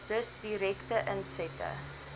dus direkte insette